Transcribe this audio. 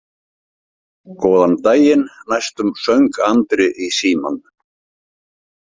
Góðan daginn, næstum söng Andri í símann.